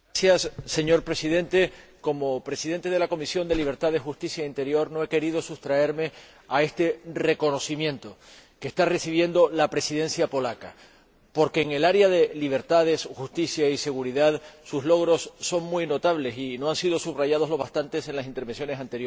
Señor Presidente, como presidente de la Comisión de Libertades Civiles, Justicia y Asuntos de Interior no he querido sustraerme a este reconocimiento que está recibiendo la Presidencia polaca, porque en el área de libertad, justicia y seguridad sus logros son muy notables y no han sido suficientemente subrayados en las intervenciones anteriores.